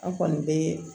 An kɔni be